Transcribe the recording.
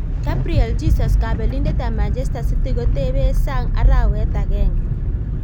Gabriel Jesus: kabelindet ab Manchester City kotebe sang arawet agenge.